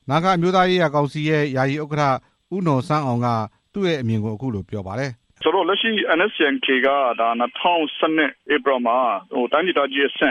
နာဂအမျိုးသားရေးရာကောင်စီရဲ့ ယာယီ ဥက္ကဋ္ဌ ဦးနော်ဆန်းအောင် က ပြောပါတယ်။ NSCN-K အဖွဲ့ဟာ အစိုးရနဲ့ တိုင်းဒေသကြီးအဆင့